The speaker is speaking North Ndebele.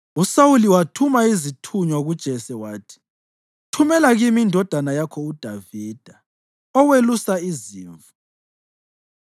USawuli wathuma izithunywa kuJese wathi, “Thumela kimi indodana yakho uDavida, owelusa izimvu.”